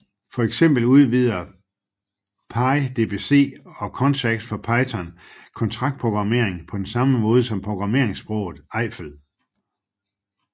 For eksempel udvider pyDBC og Contracts for Python kontraktprogrammering på samme måde som programmeringssproget Eiffel